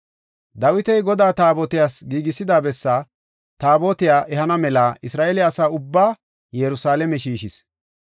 Dawiti Godaa Taabotiyas giigisida bessaa Taabotiya ehana mela Isra7eele asa ubbaa Yerusalaame shiishis.